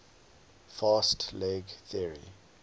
fast leg theory